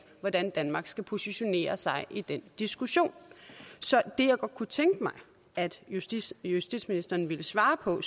hvordan danmark skal positionere sig i den diskussion så det jeg godt kunne tænke mig at justitsministeren ville svare på